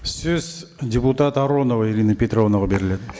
сөз депутат аронова ирина петровнаға беріледі